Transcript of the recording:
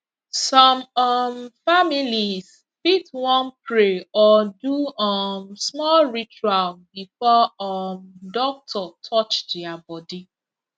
some um families fit wan pray or do um small ritual before um doctor touch their body